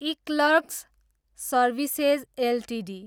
eClerx services Ltd